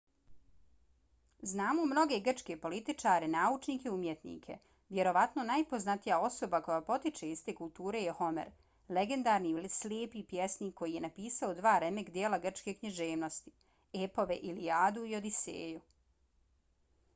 znamo mnoge grčke političare naučnike i umjetnike. vjerovatno najpoznatija osoba koja potiče iz te kulture je homer legendarni slijepi pjesnik koji je napisao dva remek-djela grčke književnosti – epove ilijadu i odiseju